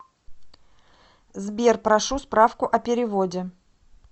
сбер прошу справку о переводе